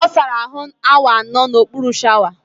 Ọ sara ahụ awa anọ n'okpuru shawa